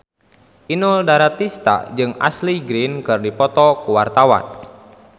Inul Daratista jeung Ashley Greene keur dipoto ku wartawan